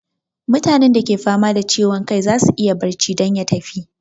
Mutane da ke fama da ciwon kai zasu iya barci don ya tafi